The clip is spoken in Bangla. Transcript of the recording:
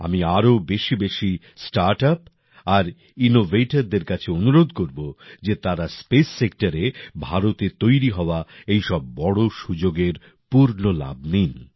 আমি আরও বেশিবেশি স্টার্টআপ আর ইনোভেটরদের কাছে অনুরোধ করব যে তারা স্পেস সেক্টরে ভারতে তৈরি হওয়া এই সব বড় সুযোগের পুর্ণ লাভ নিন